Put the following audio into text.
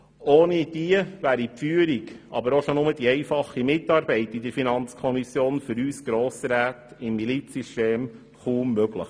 Ohne diese wäre die Führung, aber auch alleine schon die einfache Mitarbeit in der FiKo für uns Grossräte im Milizsystem kaum möglich.